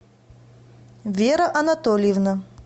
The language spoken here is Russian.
вера анатольевна